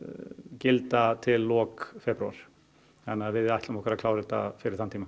gilda til loka febrúar þannig að við ætlum okkur að klára þetta fyrir þann tíma